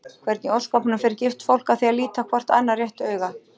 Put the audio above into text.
Hvernig í ósköpunum fer gift fólk að því að líta hvort annað réttu auga?